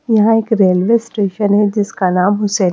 यहां एक railway station है जिसका नाम हुसैन--